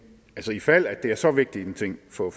i fald at det er så vigtig en ting for